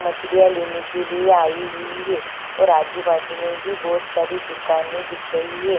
मछली लेने के लिए आई हुई हैऔर आजु बाजु मे भी बहुत सारी दुकाने दिख रही है।